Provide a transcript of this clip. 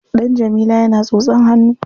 Ɗan Jamila yana tsotsan hannu.